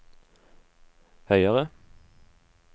høyere